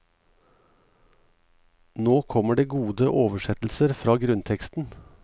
Nå kommer det gode oversettelser fra grunnteksten.